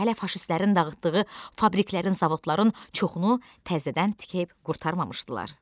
Hələ faşistlərin dağıtdığı fabriklərin, zavodların çoxunu təzədən tikib qurtarmamışdılar.